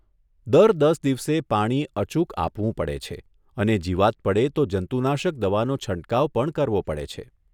દર દસ દિવસે પાણી અચુક આપવું પડે છે અને જીવાત પડે તો જંતુનાશક દવાનો છંટકાવ પણ કરવો પડે છે.